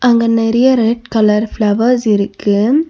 அங்க நெறைய red colour flowers இருக்கு.